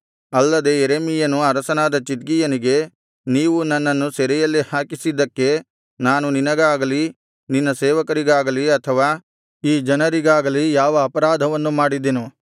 ಅಲ್ಲದೆ ಯೆರೆಮೀಯನು ಅರಸನಾದ ಚಿದ್ಕೀಯನಿಗೆ ನೀವು ನನ್ನನ್ನು ಸೆರೆಯಲ್ಲಿ ಹಾಕಿಸಿದ್ದಕ್ಕೆ ನಾನು ನಿನಗಾಗಲಿ ನಿನ್ನ ಸೇವಕರಿಗಾಗಲಿ ಅಥವಾ ಈ ಜನರಿಗಾಗಲಿ ಯಾವ ಅಪರಾಧವನ್ನು ಮಾಡಿದೆನು